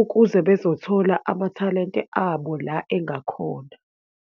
ukuze bezothola amathalente abo la engakhona.